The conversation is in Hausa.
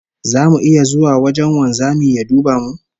Zamu iya zuwa wajen wanzamin ya duba mu?